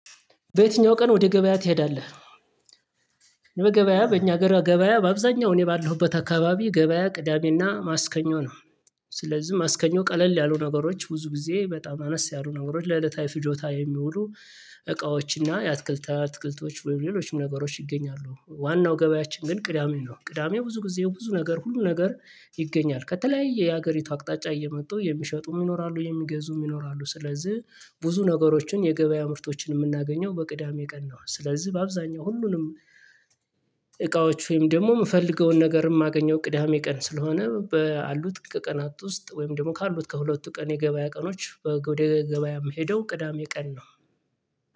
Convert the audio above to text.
በየትኛው ቀን ወደ ገበያ ትሄዳለህ? በገበያ በእኛ ሀገር ገበያ በአብዛኛው እኔ ባለሁበት አካባቢ ገበያ ቅዳሜና ማስከኞ ነው። ስለዚህ ማስከኞ ቀለል ያሉ ነገሮች ብዙ ጊዜ በጣም አነስ ያሉ ነገሮች ለዕለታዊ ፍጆታ የሚውሉ እቃዎች እና የአትክልት አትክልቶች ወይም ሌሎችም ነገሮች ይገኛሉ። ዋናው ገበያችን ግን ቅዳሜ ነው። ቅዳሜ ብዙ ጊዜ ብዙ ነገር ሁሉ ነገር ይገኛል ከተለያየ የሀገሪቱ አቅጣጫ እየመጡ የሚሸጡም ይኖራሉ የሚገዙም ይኖራሉ። ስለዝህ ብዙ ነገሮችን የገበያ ምርቶችን የምናገኘው በቅዳሜ ቀን ነው። ስለዝህ በአብዛኛው ሁሉንም እቃዎች ወይም ደግሞ እምፈልገውን ነገር እማገኘው ቅዳሜ ቀን ስለሆነ ባሉት ከቀናት ውስጥ ወይም ደግሞ ካሉት ከሁለቱ ቀን የገበያ ቀኖች ወደ ገበያ የምሄደው ቅዳሜ ቀን ነው